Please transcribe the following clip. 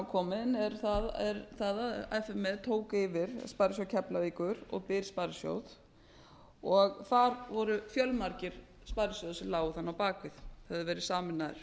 komin er það að f m e tók yfir sparisjóð keflavíkur og byr sparisjóð þar voru fjölmargir sparisjóðir sem lágu þar á bak við höfðu verið sameinaðir